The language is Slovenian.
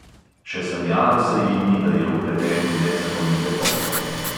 Še sanjalo se ji ni, da je vpleten v nezakonite posle.